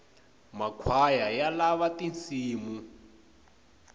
makhwaya ya lava tinsimu